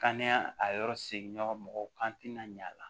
Kan a yɔrɔ seginna mɔgɔw kan tina ɲ'a la